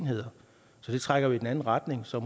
enheder så det trækker jo i den anden retning så